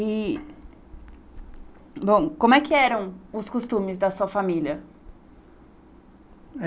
E Bom, como é que eram os costumes da sua família?